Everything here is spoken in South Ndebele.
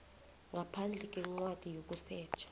ngaphandle kwencwadi yokusetjha